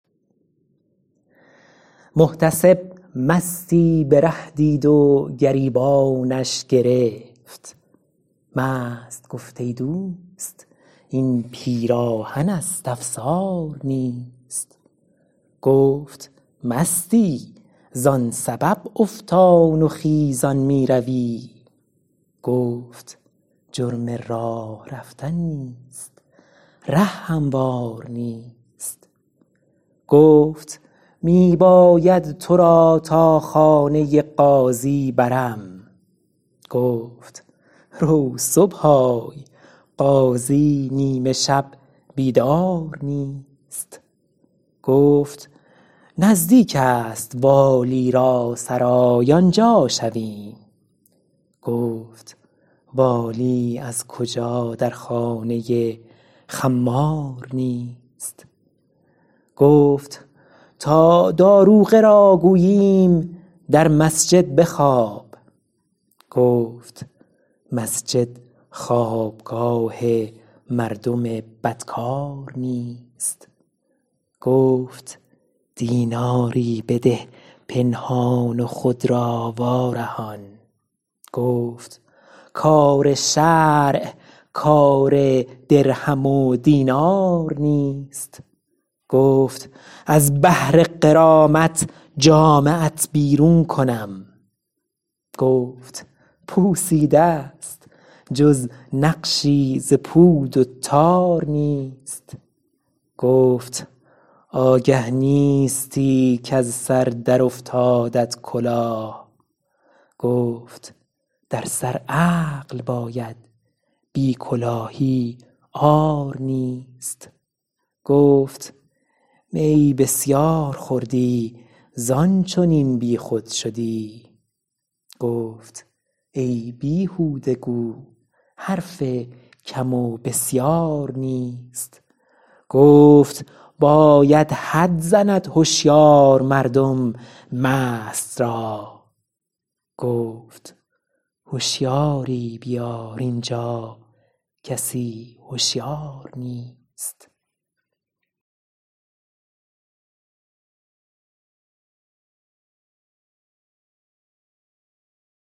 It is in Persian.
محتسب مستی به ره دید و گریبانش گرفت مست گفت ای دوست این پیراهن است افسار نیست گفت مستی زان سبب افتان و خیزان میروی گفت جرم راه رفتن نیست ره هموار نیست گفت می باید تو را تا خانه قاضی برم گفت رو صبح آی قاضی نیمه شب بیدار نیست گفت نزدیک است والی را سرای آنجا شویم گفت والی از کجا در خانه خمار نیست گفت تا داروغه را گوییم در مسجد بخواب گفت مسجد خوابگاه مردم بدکار نیست گفت دیناری بده پنهان و خود را وارهان گفت کار شرع کار درهم و دینار نیست گفت از بهر غرامت جامه ات بیرون کنم گفت پوسیده ست جز نقشی ز پود و تار نیست گفت آگه نیستی کز سر در افتادت کلاه گفت در سر عقل باید بی کلاهی عار نیست گفت می بسیار خوردی زان چنین بیخود شدی گفت ای بیهوده گو حرف کم و بسیار نیست گفت باید حد زند هشیار مردم مست را گفت هشیاری بیار اینجا کسی هشیار نیست